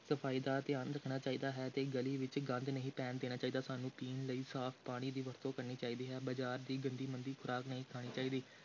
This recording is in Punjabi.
ਸਫ਼ਾਈ ਦਾ ਧਿਆਨ ਰੱਖਣਾ ਚਾਹੀਦਾ ਹੈ ਤੇ ਗਲੀ ਵਿਚ ਗੰਦ ਨਹੀਂ ਪੈਣ ਦੇਣਾ ਚਾਹੀਦਾ ਹੈ, ਸਾਨੂੰ ਪੀਣ ਲਈ ਸਾਫ਼ ਪਾਣੀ ਦੀ ਵਰਤੋਂ ਕਰਨੀ ਚਾਹੀਦੀ ਹੈ, ਬਾਜ਼ਾਰ ਦੀ ਗੰਦੀ ਮੰਦੀ ਖ਼ੁਰਾਕ ਨਹੀਂ ਖਾਣੀ ਚਾਹੀਦੀ।